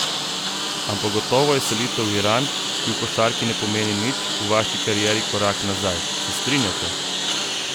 Ampak gotovo je selitev v Iran, ki v košarki ne pomeni nič, v vaši karieri korak nazaj, se strinjate?